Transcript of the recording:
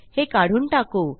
हे काढून टाकू